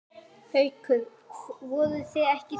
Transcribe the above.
Haukur: Voruð þið ekkert hræddir?